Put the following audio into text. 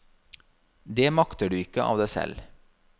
Det makter du ikke av deg selv.